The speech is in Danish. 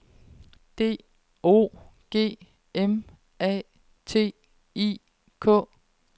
D O G M A T I K